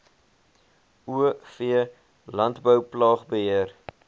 o v landbouplaagbeheer